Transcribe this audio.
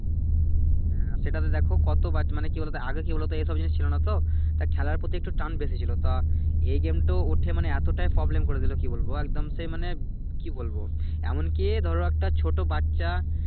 হ্যাঁ সেটাতে দেখো কতবার মানি কি বলোতো আগে কি বলোতো এইসব জিনিস ছিলো নাহ তো তাই খেলার প্রতি একটু টান বেশি ছিলো তা এই গেমটা উঠে মানে এতোটাই Problem করে দিলো কি বলবো একদম সে মানে কি বলবো এমন কি ধরো একটা ছোট বাচ্চা